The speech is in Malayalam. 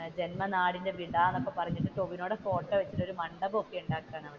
ജന്മനാടിന്റെ വിട എന്നൊക്കെ പറഞ്ഞിട്ട് ടോവിനോയുടെ ഫോട്ടോ വെച്ചിട്ട് ഒരു മണ്ഡപം ഒക്കെ ഉണ്ടാക്കുവാണ്.